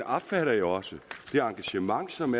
opfatter jeg jo også det engagement som